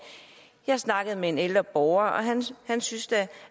jeg snakkede med en ældre borger og han syntes